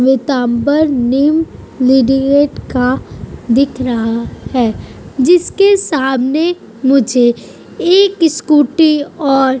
new का दिख रहा है जिसके सामने मुझे एक स्कूटी और --